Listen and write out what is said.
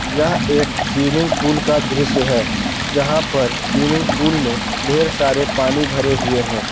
यह एक swimming pool का दृश्य है जहां पर स्विमिंग पूल में ढेर सारे पानी भरे हुए हैं।